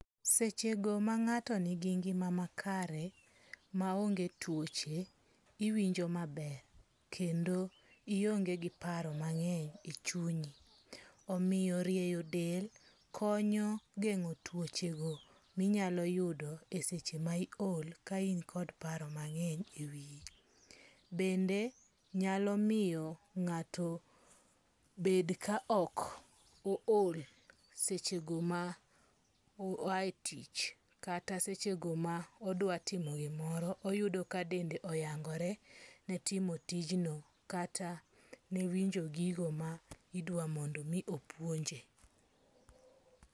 Seche go mang'ato ni gi ngima makare maonge tuoche, iwinjo maber. Kendo ionge gi paro mang'eny e chunyi. Omiyo rieyo del konyo geng'o twoche go minyalo yudo e seche ma iol ka in kod paro mang'eny e wiyi. Dende nyalomiyo ng'ato bed ka ok o ol seche go ma oa e tich. Kata seche go modwa timo gimoro oyudo ka dende oyangore ne timo tijno kata ne winjo gigo ma idwa mondo omi opuonje.